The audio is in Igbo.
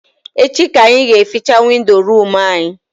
Echi ka anyị ga eficha windo room anyị